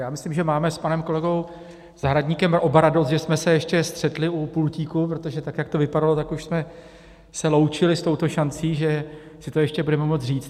Já myslím, že máme s panem kolegou Zahradníkem oba radost, že jsme se ještě střetli u pultíku, protože tak jak to vypadalo, tak už jsme se loučili s touto šancí, že si to ještě budeme moct říct.